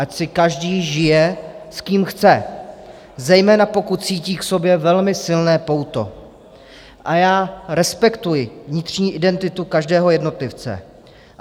Ať si každý žije, s kým chce, zejména pokud cítí k sobě velmi silné pouto, a já respektuji vnitřní identitu každého jednotlivce.